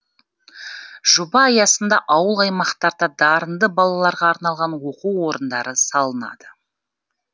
жоба аясында ауыл аймақтарда дарынды балаларға арналған оқу орындары салынады